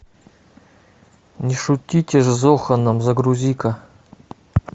не шутите с зоханом загрузи ка